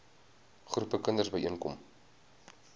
groepe kinders byeenkom